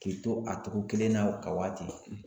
K'i to a cogo kelen na ka wa ten.